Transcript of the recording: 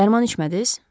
Dərman içmədiz?